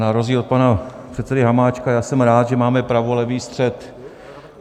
Na rozdíl od pana předsedy Hamáčka já jsem rád, že máme pravolevý střed.